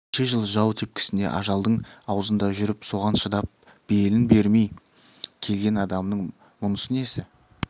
неше жыл жау тепкісінде ажалдың аузында жүріп соған шыдап белін бермей келген адамның мұнысы несі